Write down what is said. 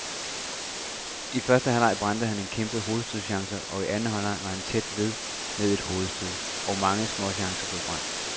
I første halvleg brændte han en kæmpe hovedstødschance og i anden halvleg var han også tæt ved med et hovedstød og mange småchancer blev brændt.